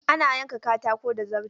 Ana yanka katako da zarto.